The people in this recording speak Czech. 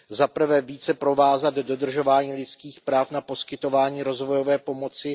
Za prvé více provázat dodržování lidských práv na poskytování rozvojové pomoci.